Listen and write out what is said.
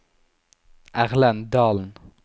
Erlend Dalen